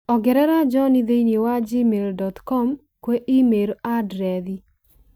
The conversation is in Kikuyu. ongerera John thĩinĩ wa gmail dot com kwi i-mīrū andirethi